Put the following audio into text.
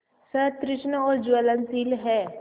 सतृष्ण और ज्वलनशील है